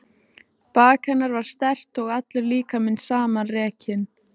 Bak hennar var sterkt og allur líkaminn samanrekinn.